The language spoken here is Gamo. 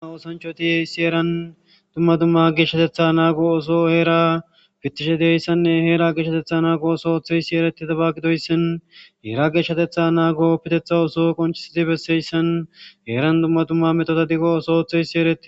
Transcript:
ma oosanchotihe issi eran dumma dumma geshshatetha naago oso heera pittishe dieyssanne heera geshatetha naago oso ootheysi ereti tabagidoyssin heera geshshatetha naago oppitetha oso qonchisiti besseyssan heeran dumma dumma metota diggo oso oothe ysi ereti